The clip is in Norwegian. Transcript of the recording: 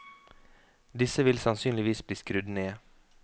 Disse vil sannsynligvis bli skrudd ned.